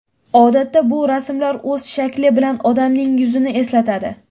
Odatda, bu rasmlar o‘z shakli bilan odamning yuzini eslatadi.